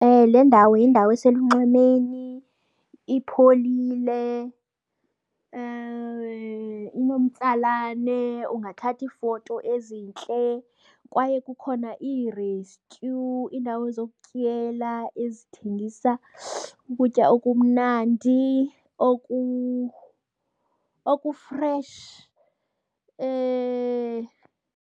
Le ndawo yindawo eselunxwemeni, ipholile, inomtsalane ungathatha iifoto ezintle. Kwaye kukhona iirestyu, iindawo zokutyela ezithengisa ukutya okumnandi okufresh .